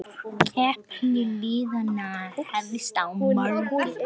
Keppni liðanna hefst á morgun.